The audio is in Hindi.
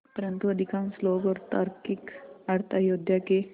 परन्तु अधिकांश लोग और तार्किक अर्थ अयोध्या के